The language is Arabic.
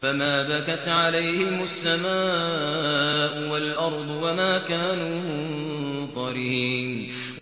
فَمَا بَكَتْ عَلَيْهِمُ السَّمَاءُ وَالْأَرْضُ وَمَا كَانُوا مُنظَرِينَ